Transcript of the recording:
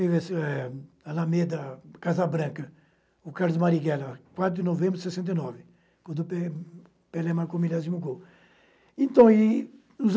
E nisso é a Lameda Casa Branca, o Carlos Marighella, quatro de novembro de sessenta e nove, quando o Pe Pelé marcou o milésimo gol. Então e nos